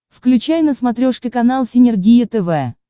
включай на смотрешке канал синергия тв